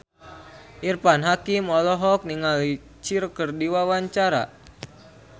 Irfan Hakim olohok ningali Cher keur diwawancara